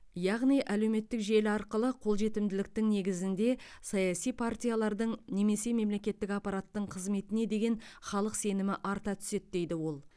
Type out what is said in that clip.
яғни әлеуметтік желі арқылы қолжетімділіктің негізінде саяси партиялардың немесе мемлекеттік аппараттың қызметіне деген халық сенімі арта түседі дейді ол